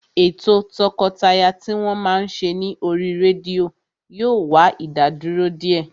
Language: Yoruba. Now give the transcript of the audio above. Ètò o tọkọtaya tí wọ́n máa ń ṣe ní oríi rédíò yóò wá ìdádúró díẹ̀